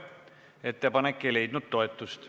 Ettepanek ei leidnud toetust.